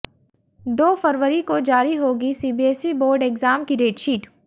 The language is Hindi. दो फरवरी को जारी होगी सीबीएसई बोर्ड एग्जाम की डेटशीट